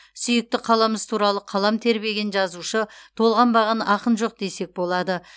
сүйікті қаламыз туралы қалам тербеген жазушы толғанбаған ақын жоқ десе болады